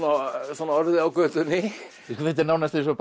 svona orðið á götunni þetta er nánast eins og